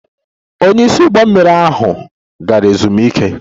Onye isi ụgbọ mmiri ahụ gara ezumike